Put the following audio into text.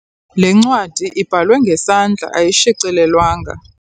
Le ncwadi ibhalwe ngesandla ayishicilelwanga.